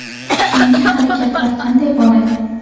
Keyingi harakatlar qanday bo‘ladi?